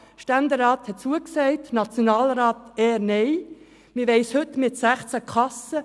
Der Ständerat hat zugesagt, während der Nationalrat eher Nein sagen wird.